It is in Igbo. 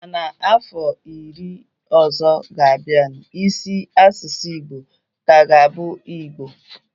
Ma na ọfọ iri ọzọ ga-abianu, isi asụsụ Igbo ka ga-abụ Igbo